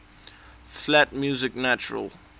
flat music natural